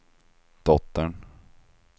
dottern